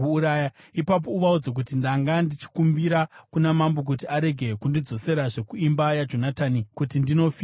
ipapo uvaudze kuti, ‘Ndanga ndichikumbira kuna mambo kuti arege kundidzoserazve kuimba yaJonatani kuti ndinofirako.’ ”